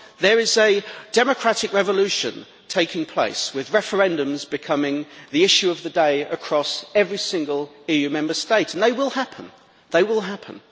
There is a democratic revolution taking place, with referendums becoming the issue of the day across every single EU Member State, and they will happen.